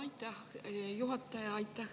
Aitäh, juhataja!